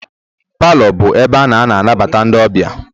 Palọ bụ ebe a na-anabata ndị ọbịa